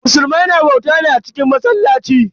Musulmai na bauta ne a cikin masallaci.